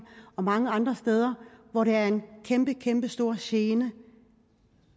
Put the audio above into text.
og mange andre steder hvor det er en kæmpestor gene